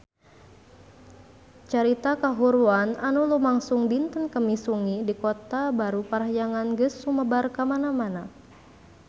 Carita kahuruan anu lumangsung dinten Kemis wengi di Kota Baru Parahyangan geus sumebar kamana-mana